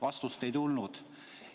Vastust ei tulnud.